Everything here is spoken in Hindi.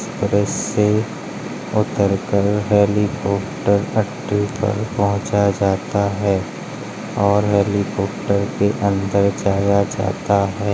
ऐसे उतर कर हेलीकॉप्टर पहुँचाया जाता है और हेलीकॉप्टर के अन्दर जाया जाता है।